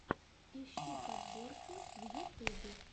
ищи подборки в ютюбе